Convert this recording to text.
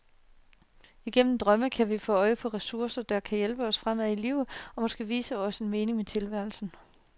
Igennem drømme kan vi få øje på ressourcer, der kan hjælpe os fremad i livet og måske vise os en mening med tilværelsen.